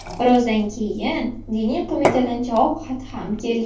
Birozdan keyin Diniy qo‘mitadan javob xati ham keldi.